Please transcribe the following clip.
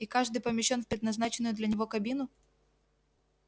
и каждый помещён в предназначенную для него кабину